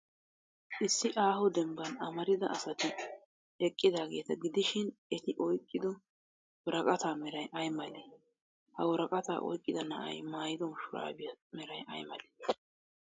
Issi aaho dembban amarida asati eqqidaageeta gidishin, eti oyqqido woraqataa meray ay malee? Ha woraqata oyqqida na'ay maayido shuraabiyaa meray ay malee?